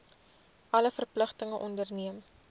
alle verpligtinge onderneem